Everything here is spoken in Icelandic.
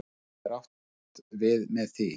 En hvað er átt við með því?